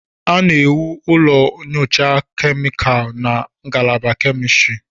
A na-ewu ụlọ nyocha kemịkalụ na ngalaba kemistri.